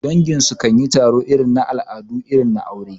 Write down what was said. Dangi su kan yi taro domin al'adu irin na aure.